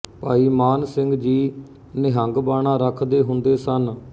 ਭਾਈ ਮਾਨ ਸਿੰਘ ਜੀ ਨਿਹੰਗ ਬਾਣਾ ਰੱਖਦੇ ਹੁੰਦੇ ਸਨ